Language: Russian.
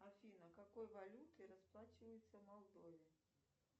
афина какой валютой расплачиваются в молдове